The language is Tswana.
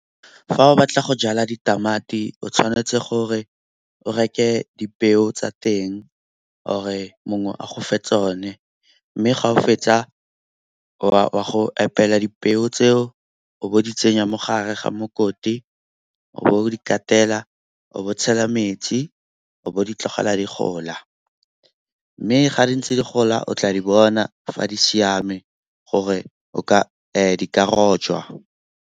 Fa o batla go jala ditamati o tshwanetse gore o reke dipeo tsa teng or-e mongwe a go fe tsone. Mme ga o fetsa wa go epela dipeo tseo o be o di tsenya mo gare ga mokoti, o be o di katela o be o tshela metsi, o bo o ditlogela di gola. Mme ga di ntse di gola o tla di bona fa di siame gore di ka rojwa.